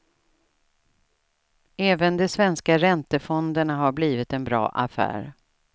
Även de svenska räntefonderna har blivit en bra affär.